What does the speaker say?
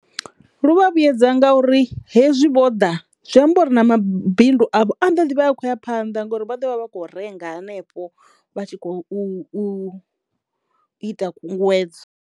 Lu vha vhuyedza nga uri hezwi Vho ḓa zwi amba uri na mabindu avho a ḓo ḓivha ya khoya phanḓa ngori vha ḓovha vha kho renga hanefho vha tshi khou u ita khunguwedzo.